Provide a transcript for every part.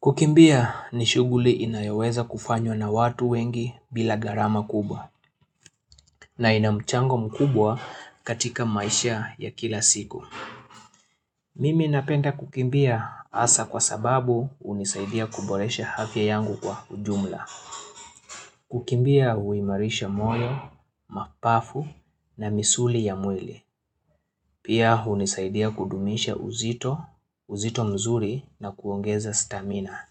Kukimbia ni shughuli inayoweza kufanywa na watu wengi bila gharama kubwa na inamchango mkubwa katika maisha ya kila siku. Mimi napenda kukimbia hasa kwa sababu hunisaidia kuboresha afya yangu kwa ujumla. Kukimbia huimarisha moyo, mabavu na misuli ya mwili. Pia hunisaidia kudumisha uzito, uzito mzuri na kuongeza stamina.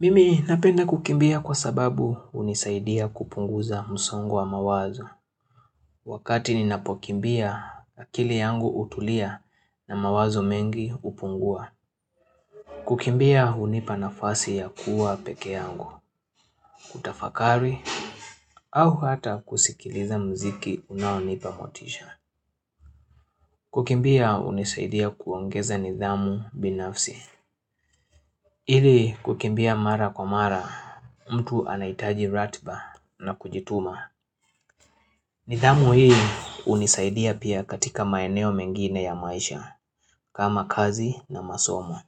Mimi napenda kukimbia kwa sababu hunisaidia kupunguza msongo wa mawazo Wakati ninapokimbia akili yangu hutulia na mawazo mengi hupungua Kukimbia hunipa nafasi ya kuwa pekee yangu, kutafakari au hata kusikiliza muziki unaonipa motisha Kukimbia hunisaidia kuongeza nidhamu binafsi Ili kukimbia mara kwa mara, mtu anahitaji ratiba na kujituma nidhamu hii hunisaidia pia katika maeneo mengine ya maisha kama kazi na masomo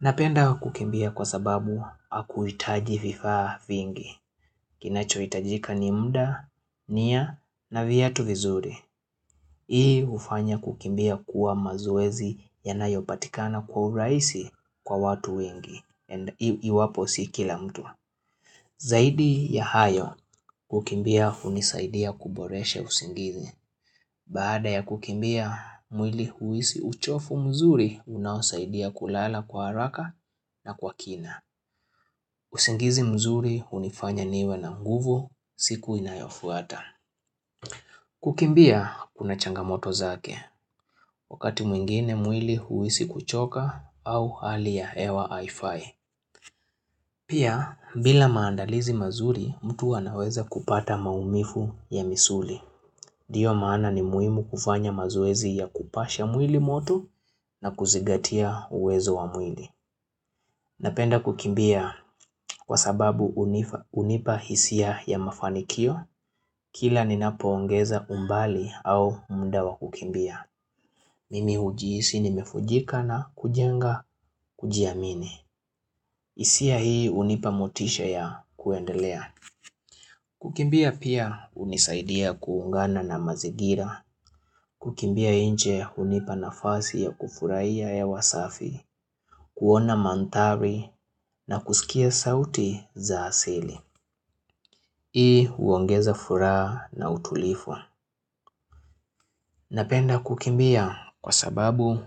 Napenda kukimbia kwa sababu hakuitaji vifaa vingi Kinacho itajika ni muda, nia na viatu vizuri Hii hufanya kukimbia kuwa mazoezi yanayo patikana kwa urahisi kwa watu wengi iwapo si kila mtu zaidi ya hayo kukimbia hunisaidia kuboreshe usingizi baada ya kukimbia mwili huhisi uchovu mzuri unaosaidia kulala kwa haraka na kwa kina usingizi mzuri hunifanya niwe na nguvu siku inayofuata kukimbia kuna changamoto zake wakati mwingine mwili huhisi kuchoka au hali ya hewa haifai Pia, bila maandalizi mazuri, mtu anaweza kupata maumivu ya misuli. Ndiyo maana ni muhimu kufanya mazoezi ya kupasha mwili moto na kuzingatia uwezo wa mwili. Napenda kukimbia kwa sababu hunipa hisia ya mafanikio, kila ninapo ongeza umbali au muda wa kukimbia. Mimi hujiisi nimevunjika na kujenga, kujiamini. Hisia hii hunipa motisha ya kuendelea Kukimbia pia hunisaidia pia kuungana na mazingira Kukimbia inje hunipa nafasi ya kufurahiya hewa safi kuona manthari na kusikia sauti za asili Hii huongeza furaha na utulivu Napenda kukimbia kwa sababu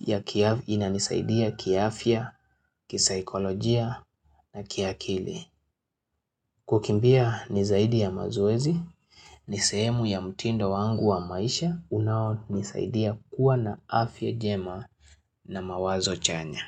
ya inanisaidia kiafya, kisaikolojia na kiakili Kukimbia ni zaidi ya mazoezi, nisehemu ya mtindo wangu wa maisha unao nisaidia kuwa na afya jema na mawazo chanya.